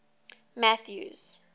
mathews